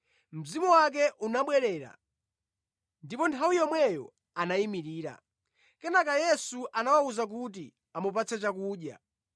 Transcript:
Mzimu wake unabwerera, ndipo nthawi yomweyo anayimirira. Kenaka Yesu anawawuza kuti amupatse chakudya.